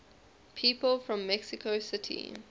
people from mexico city